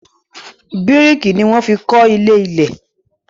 Bíríkì ni wọ́n fi kọ́ ilé-ilẹ̀.